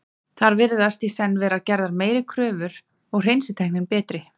þar virðast í senn vera gerðar meiri kröfur og hreinsitæknin betri